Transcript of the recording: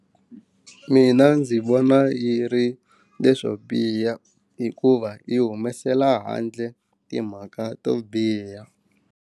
Mina ndzi vona yi ri leswo biha hikuva yi humesela handle timhaka to biha.